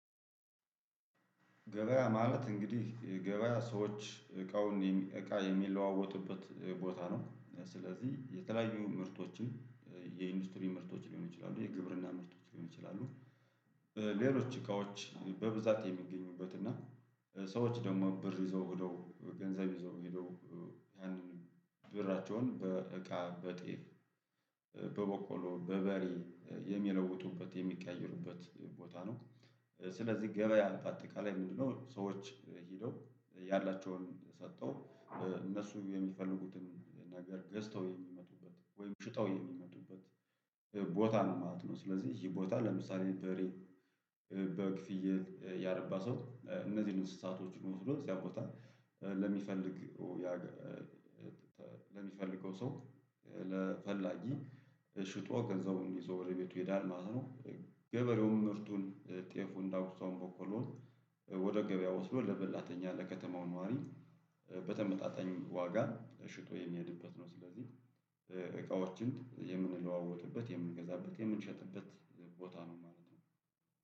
ገበያ ማለት እንግዲህ የገበያ ሰዎች እቃውን እቃ የሚለዋወጡበት ቦታ ነው። ስለዚህ የተለያዩ ምርቶችን የኢንዱስትሪ ምርቶች ሊሆን ይችላሉ የግብርና ምርቶች ሊሆን ይችላሉ ይችላል ሌሎች እቃዎች በብዛት የሚገኙበት እና ሰዎች ደግሞ ብር ይዘው ሄደው ገንዘብ ይዘው ሄደው ያንን ብራቸውን በእቃ በጤፍ በበቆ በርበሬየሚለውጡበት የሚቀያየሩበት ቦታ ነው። ስለዚህ ገበያ አጠቃላይ ምንድነው ሰዎች ሄደው ያላቸውን ሰጠው እነሱ የሚፈልጉትን ነገር ገዝተው የሚመጡበት ወይም ሽጠው የሚመጡበት ቦታ ነው ማለት ነው። ስለዚህ ይሄ ቦታ ለምሳሌ በሬ በግ፣ ፍየል ያረባ ሰው እነዚህን እንስሳቶች መውሰዶ እዚያ ቦታ ለሚፈልግ ለሚፈልገው ሰው ለፈላጊ ሽጦ ገንዘቡን ይዞ ወደ ቤቱ ይሄዳል ማለት ነው። ገበሬውም ምርቱን፣ ጤፉን፣ ዳጉሳውን፣ በቆሎውን ወደ ገበያ ወስዶ ለበላተኛ ለከተማው ነዋሪ በተመጣጣኝ ዋጋ ሽጦ የሚሄድበት ነው። ስለዚህ እቃዎችን የምንለዋወጥበት የምንገዛበት የምንሸጥበት ቦታ ነው ማለት ነው።